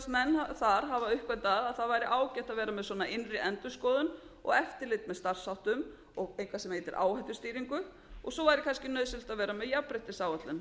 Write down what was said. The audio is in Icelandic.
dæmis virðast menn þar hafa uppgötvað að það væri ágætt að vera með svona innri endurskoðun og eftirlit með starfsháttum og eitthvað sem heitir áhættustýringu og svo væri kannski nauðsynlegt að vera með jafnréttisáætlun